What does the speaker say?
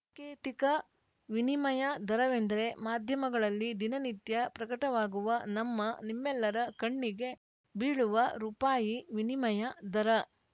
ಕೇತಿಕ ವಿನಿಮಯ ದರವೆಂದರೆ ಮಾಧ್ಯಮಗಳಲ್ಲಿ ದಿನನಿತ್ಯ ಪ್ರಕಟವಾಗುವ ನಮ್ಮನಿಮ್ಮೆಲ್ಲರ ಕಣ್ಣಿಗೆ ಬೀಳುವ ರುಪಾಯಿ ವಿನಿಮಯ ದರ